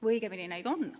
Või õigemini, neid on.